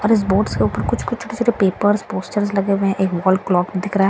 और इस बोट्स से ऊपर कुछ-कुछ छोटे-छोटे पेपर्स पोस्टर्स लगे हुए हैं एक वॉल क्लॉक बी दिख रहा हैं --